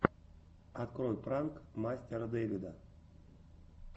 открой пранк мастера дэвида